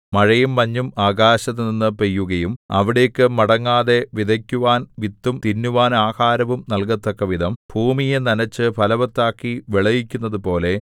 മഴയും മഞ്ഞും ആകാശത്തുനിന്ന് പെയ്യുകയും അവിടേക്കു മടങ്ങാതെ വിതയ്ക്കുവാൻ വിത്തും തിന്നുവാൻ ആഹാരവും നല്കത്തക്കവിധം ഭൂമിയെ നനച്ചു ഫലവത്താക്കി വിളയിക്കുന്നതുപോലെ